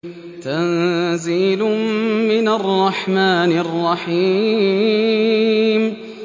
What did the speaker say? تَنزِيلٌ مِّنَ الرَّحْمَٰنِ الرَّحِيمِ